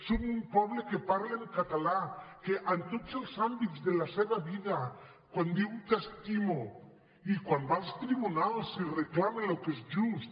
som un poble que parla en català en tots els àmbits de la seva vida quan diu t’estimo i quan va als tribunals i reclama el que és just